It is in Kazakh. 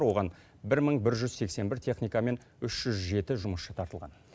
оған бір мың бір жүз сексен бір техника мен үш жүз жеті жұмысшы тартылған